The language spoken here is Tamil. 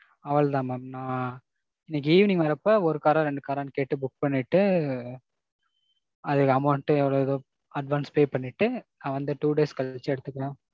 அவ்வளவு தான் mam. நான் இன்னிக்கி evening வர்றப்ப ஒரு car ரா ரெண்டு car ரான்னு கேட்டு book பண்ணிட்டு, அதோட amount எவ்வளவோ advance pay பண்ணிட்டு நான் வந்த two days கழிச்சு எடுத்துக்கிறோம்.